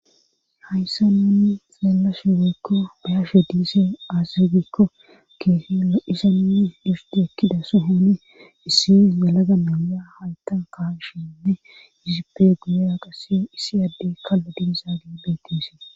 hayssa nunni xeellashe weykko bayashe diise aazirgikko keefi aisayi difti ekkida sohooni issi yalaga meya hayta kahagshinne yizipe guya qase issi adde kallo diizaa gi beettes